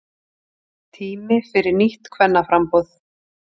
Tími fyrir nýtt kvennaframboð